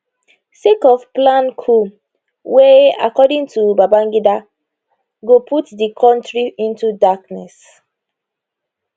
sake of planned coup wey according to babangida go put di kontri into darkness